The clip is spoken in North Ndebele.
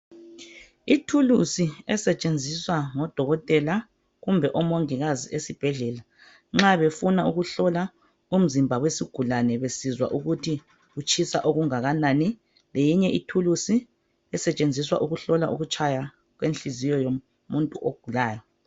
Ithulusi esetshenziswa ngodokotela kumbe omongikazi esibhedlela nxa befuna ukuhlola umzimba wesigulane besizwa ukuthi utshisa okungakanani .Leyinye ithulusi esetshenziswa ukuhlola ukutshaya kwenhliziyo yomuntu ogulayo .